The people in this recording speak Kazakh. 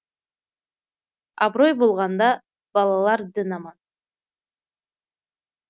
абырой болғанда балалар дін аман